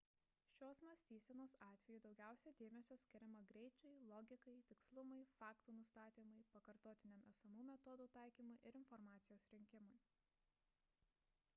šios mąstysenos atveju daugiausia dėmesio skiriama greičiui logikai tikslumui faktų nustatymui pakartotiniam esamų metodų taikymui ir informacijos rinkimui